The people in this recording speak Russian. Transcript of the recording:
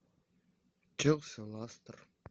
челси ластер